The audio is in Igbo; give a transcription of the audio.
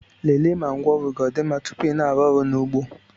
lelee ma ngwaọrụ gị ọ dị mma tupu ị na-arụ ọrụ n'ugbo